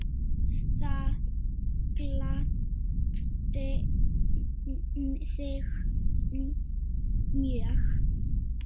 Það gladdi þig mjög.